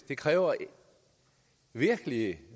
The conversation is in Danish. det kræver virkelig